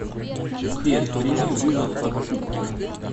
сбер прими вызов от пупкина